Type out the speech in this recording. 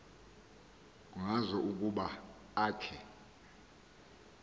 ngazo ukuba akhe